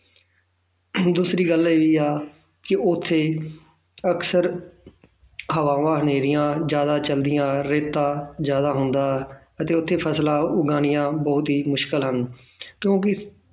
ਦੂਸਰੀ ਗੱਲ ਇਹ ਹੈ ਕਿ ਉੱਥੇ ਅਕਸਰ ਹਵਾਵਾਂ ਹਨੇਰੀਆਂ ਜ਼ਿਆਦਾ ਚੱਲਦੀਆਂ ਰੇਤਾ ਜ਼ਿਆਦਾ ਹੁੰਦਾ ਅਤੇ ਉੱਥੇ ਫ਼ਸਲਾਂ ਉਗਾਉਣੀਆਂ ਬਹੁਤ ਹੀ ਮੁਸ਼ਕਲ ਹਨ ਕਿਉਂਕਿ